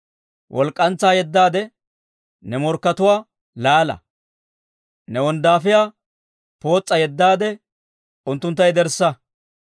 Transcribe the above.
Walk'k'antsaa yeddaade ne morkkatuwaa laala! Ne wonddaafiyaa pootsaa yeddaade unttuntta yederssa!